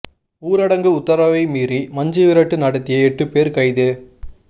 ஊரடங்கு உத்தரவை மீறி மஞ்சு விரட்டு நடத்திய எட்டு பேர் கைது